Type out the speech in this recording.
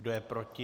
Kdo je proti?